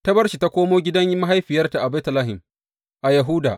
Ta bar shi ta komo gidan mahaifiyarta a Betlehem, a Yahuda.